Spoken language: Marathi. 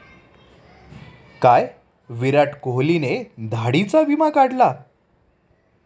काय! विराट कोहलीने दाढीचा 'विमा' काढला